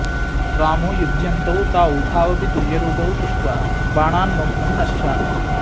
रामो युध्यन्तौ तावुभावपि तुल्यरूपौ तृष्ट्वा बाणान्मोक्तुं न शशाक